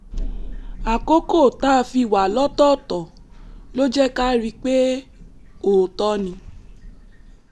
àkókò tá a fi wà lọ́tọ̀ọ̀tọ̀ ló jẹ́ ká rí i pé òótọ́ ni